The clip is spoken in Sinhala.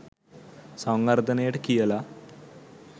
සංවර්ධනයට කියලා.